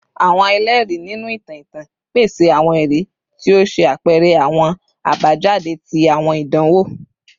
Awọn ẹlẹri, ninu itan itan, pese awọn ẹri ti o ṣe apẹrẹ awọn abajade ti awọn idanwo